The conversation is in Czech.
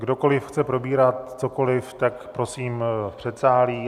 Kdokoliv chce probírat cokoliv, tak prosím v předsálí.